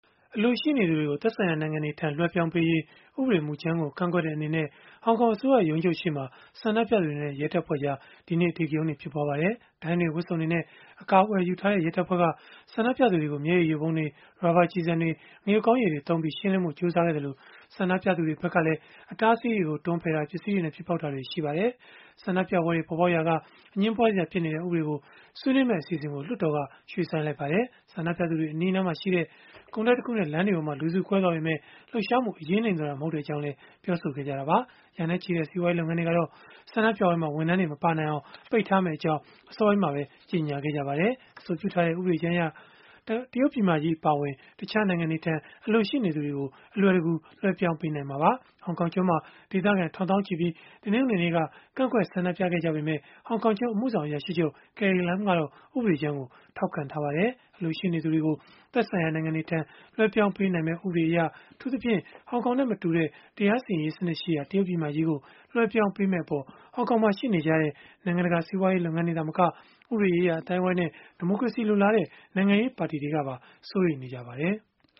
အလိုရှိနေသူတွေကို သက်ဆိုင်ရာနိုင်ငံတွေထံ လွဲှပြောင်းပေးရေး ဥပဒေမူကြမ်းကို ကန့်ကွက်တဲ့ အနေနဲ့ ဟောင်ကောင် အစိုးရရုံးချုပ်ရှေ့မှာ ဆန္ဒပြသူတွေနဲ့ ရဲတပ်ဖွဲ့ကြား ဒီကနေ့ အဓိကရုဏ်း ဖြစ်ပွားခဲ့ပါတယ်။ ဒိုင်းတွေ၊ ဝတ်စုံတွေနဲ့ အကာအကွယ် ယူထားတဲ့ ရဲတပ်ဖွဲ့က ဆန္ဒပြသူတွေကို မျက်ရည်ယိုဗုံးတွေ၊ ရာဘာကျည်ဆံတွေ၊ ငရုပ်ကောင်းရည်တွေ သုံးပြီး ရှင်းလင်းဖို့ ကြိုးစားခဲ့သလို၊ ဆန္ဒပြသူတွေ ဘက်ကလည်း အတားအဆီးတွေကို တွန်းဖယ်တာ၊ ပစ္စည်းတွေနဲ့ ပစ်ပေါက်တာတွေလည်း ရှိခဲ့ပါတယ်။ ဆန္ဒပြပွဲတွေ ပေါ်ပေါက်ရာက အငြင်းပွားစရာ ဖြစ်နေတဲ့ ဥပဒေကို ဆွေးနွေးမယ့် အစီအစဉ်ကို လွှတ်တော်က ရွှေ့ဆိုင်းလိုက်ရပါတယ်။ ဆန္ဒပြသူတွေ အနီးအနားမှာရှိတဲ့ ကုန်တိုက်တခုနဲ့ လမ်းတွေပေါ်မှာ လူစုကွဲသွားပေမဲ့ လှုပ်ရှားမှု အရေးနိမ့်သွားတာ မဟုတ်ကြောင်းလည်း ပြောဆိုခဲ့တာပါ။ ရာနဲ့ချီတဲ့ စီးပွားရေး လုပ်ငန်းတွေကတော့ ဆန္ဒပြပွဲမှာ ဝန်ထမ်းတွေ မပါနိုင်အောင် ပိတ်ထားမယ့်အကြောင်း အစောပိုင်းမှာပဲ ကြေညာခဲ့ကြပါတယ်။ အဆိုပြုထားတဲ့ ဥပဒေကြမ်းအရ ဆိုရင်တော့ တရုတ်ပြည်မကြီး အပါအဝင် တခြားနိုင်ငံတွေထံ အလိုရှိနေသူတွေကို အလွယ်တကူ လွဲှပြောင်းပေးနိုင်တော့မှာပါ။ ဟောင်ကောင်ကျွန်းမှာ ဒေသခံ ထောင်သောင်းချီပြီး တနင်္ဂနွေနေ့က ကန့်ကွက်ဆန္ဒပြခဲ့ကြပေမဲ့ ဟောင်ကောင်ကျွန်း အမှုဆောင်အရာရှိချုပ် Carrie Lam ကတော့ ဥပဒေကြမ်းကို ထောက်ခံထားပါတယ်။ အလိုရှိနေသူတွေကို သက်ဆိုင်ရာ နိုင်ငံတွေထံ လွဲှပြောင်းပေးမယ့် ဥပဒေအရ အထူးသဖြင့် ဟောင်ကောင်နဲ့ မတူတဲ့ တရားစီရင်ရေးစနစ်ရှိရာ တရုတ်ပြည်မကြီးကို လွဲှဲပြောင်းပေးမယ့်အပေါ် ဟောင်ကောင်မှာ ရှိနေကြတဲ့ နိုင်ငံတကာ စီးပွားရေး လုပ်ငန်းတွေ သာမက ဥပဒေရေးရာ အသိုင်းအဝန်းနဲ့ ဒီမိုကရေစီ လိုလားတဲ့ နိုင်ငံရေး ပါတီတွေကပါ စိုးရိမ်နေကြပါတယ်။